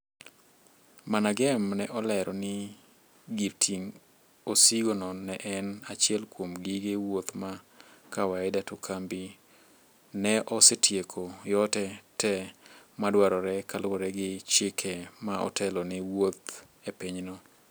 MANAGEM ne olero ni gir ting osigo no ne en achiel kuom gige wuoth ma kawaida to kambi neosetieko yote te madwarore kaluwore gi chike ma otelo ni wuoth e pinyno